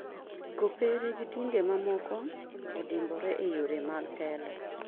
Kopere gi dinde mamoko odimbore e yore mag telo.